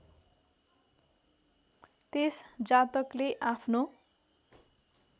त्यस जातकले आफ्नो